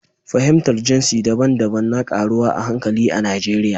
Fahimtar jinsi daban-daban na ƙaruwa a hankali a Najeriya.